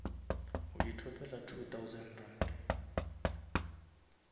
o ithopela two thousand rand